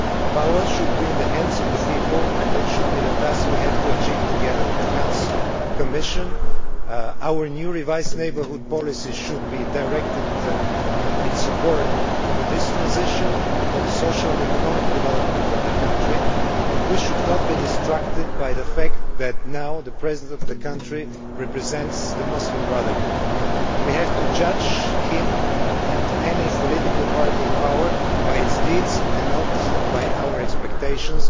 Power should be in the hands of the people, and that should be the task we have to achieve together the Council, the Commission, our new revised neighbourhood policy should be directed in support of this transition for the social and economic development of the country, and we should not be distracted by the fact that the President of the country now represents the Muslim Brotherhood. We have to judge him and any political party in power by its deeds and not by our expectations,